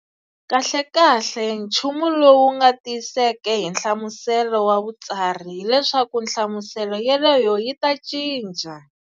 Kahlekahle, nchumu lowu nga tiyiseka hi nhlamusela wa Vutsari, hileswaku hlamuselo yeloyo yi ta cinca.